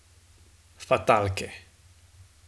Fatalke.